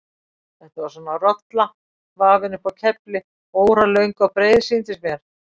Þetta var svona rolla, vafin upp á kefli, óralöng og breið sýndist mér.